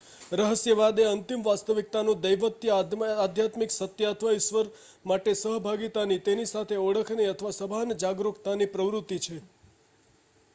રહસ્યવાદ એ અંતિમ વાસ્તવિકતા દૈવત્વ અધ્યાત્મિક સત્ય અથવા ઈશ્વર સાથે સહભાગિતાની તેની સાથે ઓળખની અથવા સભાન જાગરૂકતાની પ્રવૃત્તિ છે